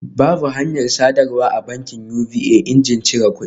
Babu hanyar sadarwa a bankin UBA injin cire kudi